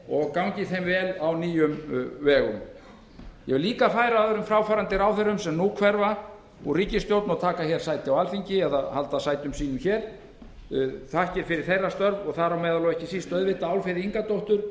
heyr gangi þeim vel á nýjum vegum ég vil líka færa öðrum fráfarandi ráðherrum sem nú hverfa úr ríkisstjórn og halda sætum sínum hér þakkir fyrir þeirra störf þar á meðal og ekki síst auðvitað álfheiði ingadóttur